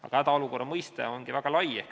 Aga hädaolukorra mõiste ongi väga lai.